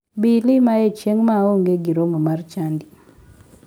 Bi ilimaye chieng ma aonge gi romo mar chadi.